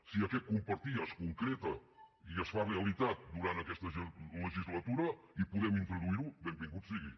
si aquest compartir es concreta i es fa realitat durant aquesta legislatura i podem introduir ho benvingut sigui